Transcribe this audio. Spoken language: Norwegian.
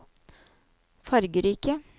fargerike